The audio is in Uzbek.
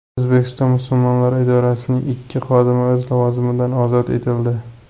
O‘zbekiston musulmonlari idorasining ikki xodimi o‘z lavozimidan ozod etildi.